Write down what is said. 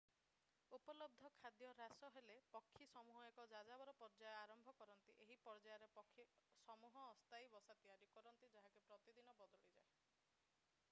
ଉପଲବ୍ଧ ଖାଦ୍ୟ ହ୍ରାସ ହେଲେ ପକ୍ଷୀ ସମୂହ ଏକ ଯାଯାବର ପର୍ଯ୍ୟାୟ ଆରମ୍ଭ କରନ୍ତି ଏହି ପର୍ଯ୍ୟାୟରେ ପକ୍ଷୀ ସମୂହ ଅସ୍ଥାୟୀ ବସା ତିଆରି କରନ୍ତି ଯାହାକି ପ୍ରତିଦିନ ବଦଳିଯାଏ